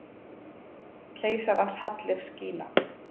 Keisarans hallir skína.